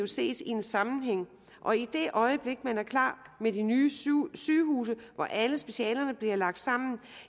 ses i en sammenhæng og i det øjeblik man er klar med de nye sygehuse hvor alle specialerne bliver lagt sammen